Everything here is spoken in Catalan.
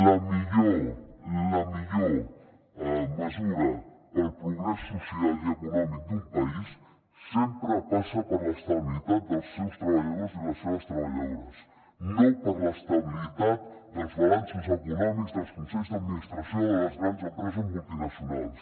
la millor la millor mesura pel progrés social i econòmic d’un país sempre passa per l’estabilitat dels seus treballadors i les seves treballadores no per l’estabilitat dels balanços econòmics dels consells d’administració de les grans empreses multinacionals